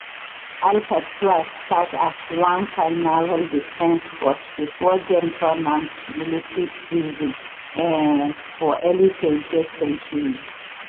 alcatraz start as one kain naval defence fort before dem turn am to military prison um for early 20th century